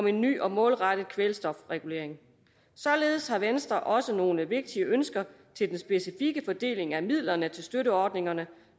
en ny og målrettet kvælstofregulering således har venstre også nogle vigtige ønsker til den specifikke fordeling af midlerne til støtteordningerne